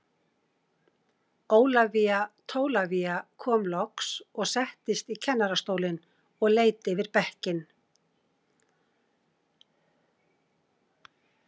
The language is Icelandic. Ólafía Tólafía kom loks og settist í kennarastólinn og leit yfir bekkinn.